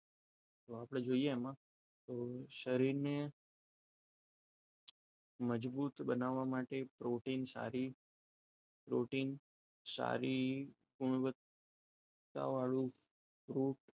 તો આપણે જોઈએ એમાં તો શરીરને મજબૂત બનાવવા માટે પ્રોટીન સારી પ્રોટીન સારી ગુણવત્તા વાળું ખૂબ